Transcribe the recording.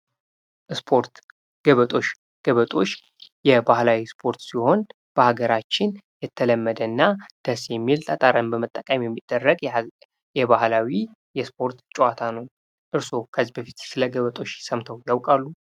ስፖርት ፦ ገበጦሽ ፦ ገበጦሽ የባህላዊ ሰፖርት ሲሆን በሀገራችን የተለመደና ደስ የሚል ጠጠርን በመጠቀም የሚደረግ የባህላዊ የስፖርት ጨዋታ ነው ። እርሶ ከዚህ በፊት ስለ ገበጦሽ ሰምተው ያውቃሉ ?